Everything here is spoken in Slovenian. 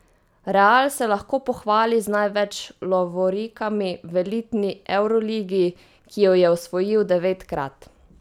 Real se lahko pohvali z največ lovorikami v elitni evroligi, ki jo je osvojil devetkrat.